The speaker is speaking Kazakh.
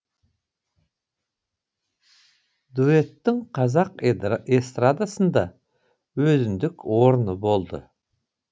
дуэттің қазақ эстрадасында өзіндік орны болды